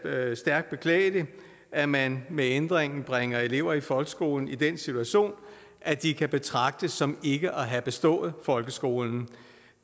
jeg stærkt beklageligt at man med ændringen bringer elever i folkeskolen i den situation at de kan betragtes som ikke at have bestået folkeskolen